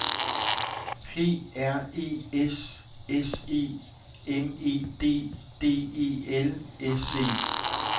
P R E S S E M E D D E L S E